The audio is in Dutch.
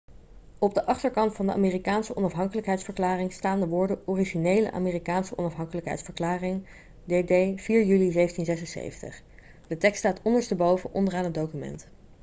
op de achterkant van de amerikaanse onafhankelijkheidsverklaring staan de woorden 'originele amerikaanse onafhankelijkheidsverklaring dd. 4 juli 1776'. de tekst staat ondersteboven onderaan het document